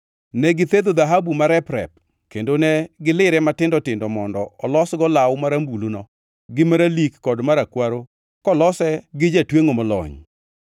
Ne githedho dhahabu marep-rep kendo ne gilire matindo tindo mondo olosgo law marambuluno gi maralik kod marakwaro kolose gi jatwengʼo molony.